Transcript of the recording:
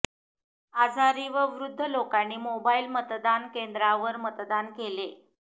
आजारी व वृध्द लोकांनी मोबाईल मतदान केंद्रांवर मतदान केले